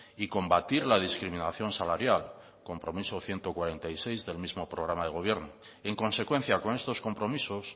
y combatir la discriminación salarial compromiso ciento cuarenta y seis del mismo programa de gobierno en consecuencia con estos compromisos